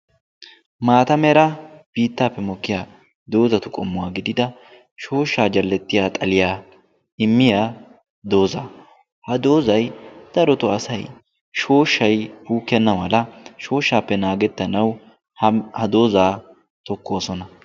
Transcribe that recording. Maata mera biittaappe mokkiyaa doozzatu qommuwaa shooshshaa jalettiyaa xaaliyaa immiyaa doozaa. ha doozzay darotoo asay shooshay dukkena mala shooshaappe naagettanawu ha doozaa tokkoosoona.